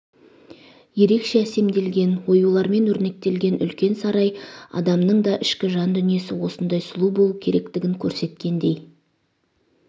ерекше әсемделген оюлармен өрнектелген үлкен сарай адамның да ішкі жан дүниесі осындай сұлу болуы керектігін көрсеткендей